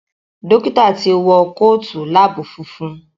Dókítà tí wọ Kóòtù lab funfun.